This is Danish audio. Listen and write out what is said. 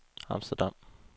Amsterdam